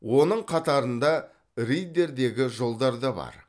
оның қатарында риддердегі жолдар да бар